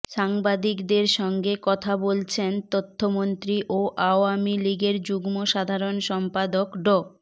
সাংবাদিকদের সঙ্গে কথা বলছেন তথ্যমন্ত্রী ও আওয়ামী লীগের যুগ্ম সাধারণ সম্পাদক ড